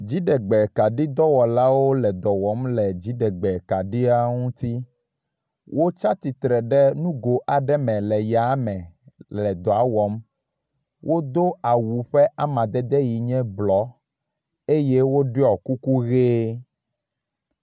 Dziɖegbe kaɖi dɔwɔla aɖewo le dɔ wɔm le dziɖegbe kaɖiawo ŋuti. Wotsatsitre ɖe nugo aɖe me yame le dɔa wɔm. wodo awu ƒe amadede ye nye blɔ eye woɖɔ kuku ʋe.